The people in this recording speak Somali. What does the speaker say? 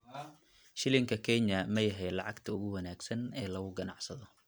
Shilinka Kenya ma yahay lacagta ugu wanaagsan ee lagu ganacsado?